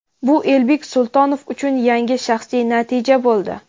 bu Elbek Sultonov uchun yangi shaxsiy natija bo‘ldi.